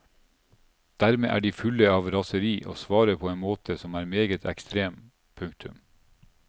Dermed er de fulle av raseri og svarer på en måte som er meget ekstrem. punktum